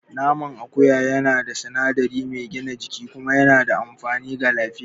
Naman akuya yana da sinadari mai gina jiki kuma yana da amfani ga lafiya.